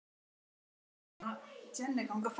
Eimur af sjálfri sér.